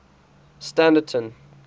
standerton